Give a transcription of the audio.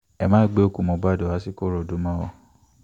ẹ má gbé òkú mohbad wá sìkòròdú mọ́ o